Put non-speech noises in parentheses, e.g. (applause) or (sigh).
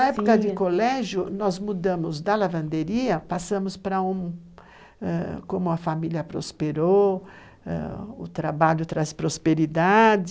(unintelligible) Na época de colégio, nós mudamos da lavanderia, passamos para um... como a família prosperou, o trabalho traz prosperidade.